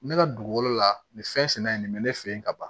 Ne ka dugukolo la nin fɛn sɛnɛ in nin bɛ ne fɛ yen ka ban